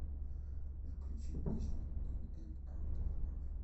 включи песню ин энд аут оф лав